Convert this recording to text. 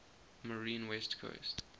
marine west coast